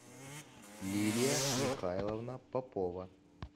лилия михайловна попова